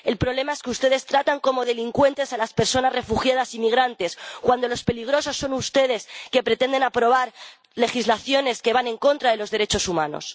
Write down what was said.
El problema es que ustedes tratan como delincuentes a las personas refugiadas y migrantes cuando los peligrosos son ustedes, que pretenden aprobar legislaciones que van en contra de los derechos humanos.